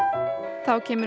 þá kemur